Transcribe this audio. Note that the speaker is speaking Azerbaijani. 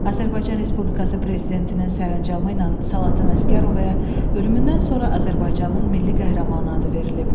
Azərbaycan Respublikası Prezidentinin sərəncamı ilə Salatın Əsgərovaya ölümündən sonra Azərbaycanın Milli Qəhrəmanı adı verilib.